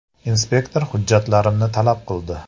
“Inspektor hujjatlarimni talab qildi.